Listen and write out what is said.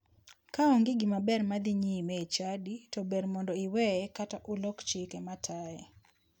Ka onge gimaber madhi nyime e chadi to ber mondo iweye kata ulok chike mataye.